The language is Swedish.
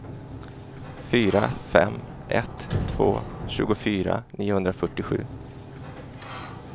fyra fem ett två tjugofyra niohundrafyrtiosju